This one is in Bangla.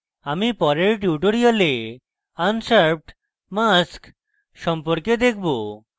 আমি পরের tutorial আনশার্পড mask সম্পর্কে দেখব